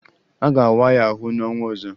A ga-awa ya ahụ n'ọnwa ọzọ